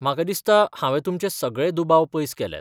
म्हाका दिसता हावें तुमचे सगळे दुबाव पयस केल्यात.